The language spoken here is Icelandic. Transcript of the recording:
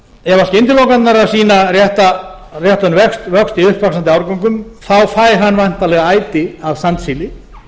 ef skyndilokanirnar eru að sýna réttan vöxt í uppvaxandi árgöngum fær hann væntanlega æti af sandsíli